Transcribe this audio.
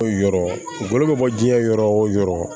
Yɔrɔ bolo bɛ bɔ jiɲɛ yɔrɔ o yɔrɔ